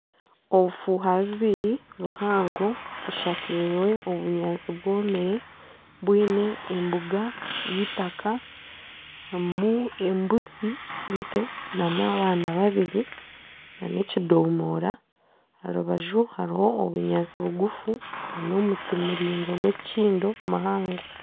Obufuuha bubiri buhango bushakirwe obunyaantsi bwomire bwine embuga y'eitaka harimu embuzi ento n'abaana babiri , nana ekidomora aha rubaju hariho obunyaantsi bugufu nana omuti muringwa gw'ekikindo muhango.